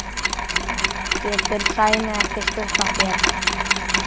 getur Sæmi ekki skutlað þér?